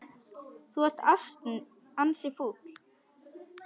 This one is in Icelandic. Þú ert ansi fúll.